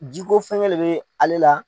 Jiko fɛnkɛ de bɛ ale la